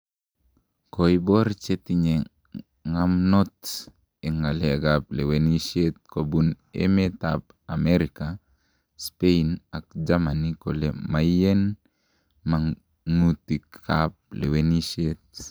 Koibor chetinye ngamnot en ngalek ab lewenisiet kobun met ab America, Spain ak Germany kole maiyen mangutik ab lewenisiet